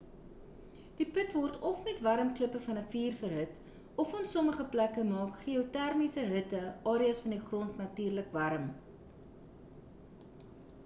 die put word of met warm klippe van 'n vuur verhit of in sommige plekke maak geotermiese hitte areas van die grond natuurlik warm